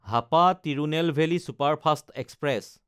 Hapa Tirunelveli superfast express